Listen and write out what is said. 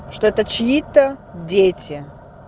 что это чьи-то дети